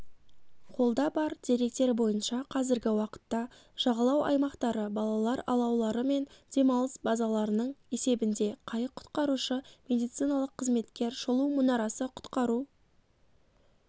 қолда бар деректер бойынша қазіргі уақытта жағалау аймақтары балалар алаулары мен демалыс базаларының есебінде қайық құтқарушы медициналық қызметкер шолу мұнарасы құтқару